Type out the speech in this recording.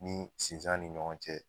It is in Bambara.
Ni sinzan ni ɲɔgɔn cɛ